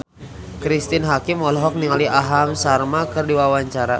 Cristine Hakim olohok ningali Aham Sharma keur diwawancara